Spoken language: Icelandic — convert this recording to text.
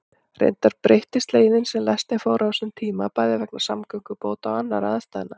Reyndar breyttist leiðin sem lestin fór á þessum tíma, bæði vegna samgöngubóta og annarra aðstæðna.